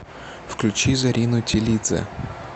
включи зарину тилидзе